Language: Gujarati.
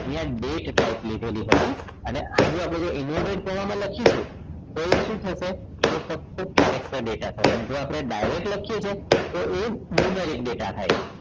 અહીંયા date type લીધેલી હતી અને આજે આપણે inverted comma માં લખીશું તો એ શું થશે તે સતત character data થશે જો આપણે ડાઇરેક્ટ લખીએ છીએ તો એ numeric data થાય છે